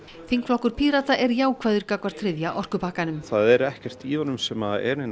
þingflokkur Pírata er jákvæður gagnvart þriðja orkupakkanum það er ekkert í honum sem er nein